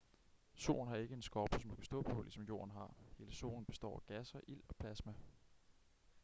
solen har ikke en skorpe som du kan stå på ligesom jorden har hele solen består af gasser ild og plasma